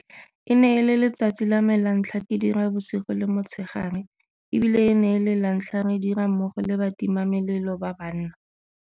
E ne e le letsatsi la me la ntlha ke dira bosigo le motshegare e bile e ne e le lantlha re dira mmogo le batimamelelo ba banna.